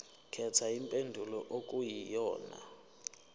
khetha impendulo okuyiyona